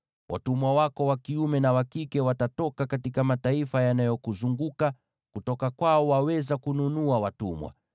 “ ‘Watumwa wako wa kiume na wa kike watatoka katika mataifa yanayokuzunguka; kutoka kwao waweza kununua watumwa.